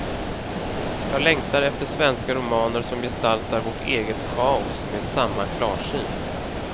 Jag längtar efter svenska romaner som gestaltar vårt eget kaos med samma klarsyn.